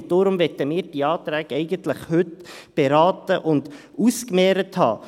Deshalb möchten wir diese Anträge eigentlich heute beraten und ausgemehrt haben.